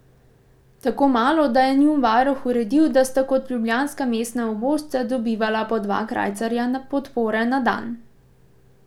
Tako malo, da je njun varuh uredil, da sta kot ljubljanska mestna ubožca dobivala po dva krajcarja podpore na dan.